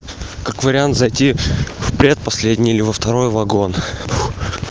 как вариант зайти в предпоследний или во второй вагон